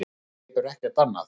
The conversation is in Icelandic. Þú hleypur ekkert annað.